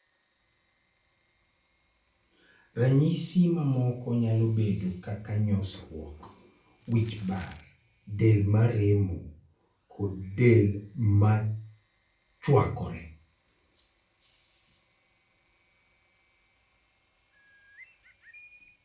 Ranyisi mamoko nyalo bedo kaka nyosruok, wich bar, del maremo, kod del machuakore.